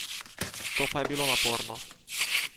To pa je bilo naporno!